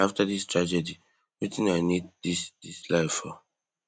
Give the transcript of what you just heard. after dis tragedy wetin i need dis dis life for